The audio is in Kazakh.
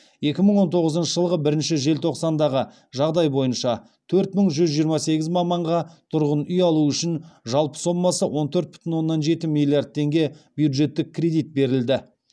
екі мың он тоғызыншы жылғы бірінші желтоқсандағы жағдай бойынша төрт мың бір жүз жиырма сегіз маманға тұрғын үй алу үшін жалпы сомасы он төрт бүтін оннан жеті миллиард теңге бюджеттік кредит берілді